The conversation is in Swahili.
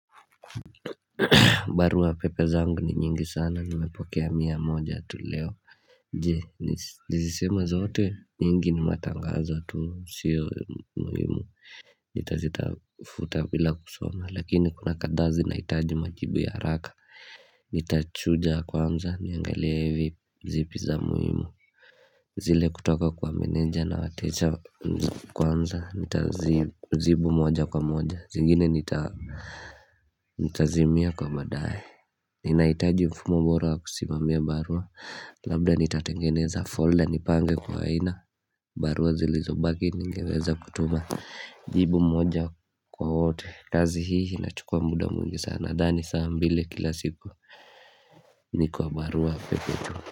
Barua pepe zangu ni nyingi sana nimepokea mia moja tu leo Je niziseme zote nyingi ni matangazo tu sio muhimu Nita zita futa bila kusoma lakini kuna kadhaa zinahitaji majibu ya haraka Nitachuja kwanza niangalie hivi zipi za muhimu zile kutoka kwa meneja na wateja kwanza nita zibu moja kwa moja zingine nita Ntazimia kwa badae Ninahitaji mfumo bora kusimamia barua Labda nitatengeneza folder nipange kwa aina barua zilizo baki ningeweza kutuma jibu moja kwa wote kazi hii inachukua muda mwingi sana nadhani saa mbili kila siku Nikiwa barua pepe tu.